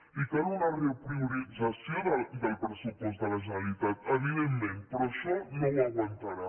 i cal una repriorització del pressupost de la generalitat evidentment però això no ho aguantarà